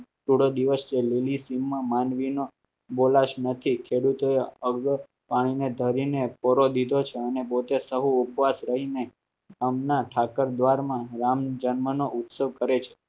rally સીમા માંડવી ના બોલાય નથી ખેડુ તર ઔધો ને પાંડવો ધરીને થોડો દિવસ સહાય ને ભાઈ ઉપાસ રહીને હમણાં ઠાકર દ્વાર માં રામ જન્મ ના ઉત્સવ કરે છે આખિર